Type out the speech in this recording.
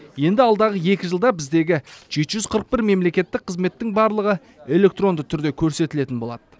енді алдағы екі жылда біздегі жеті жүз қырық бір мемлекеттік қызметтің барлығы электронды түрде көрсетілетін болады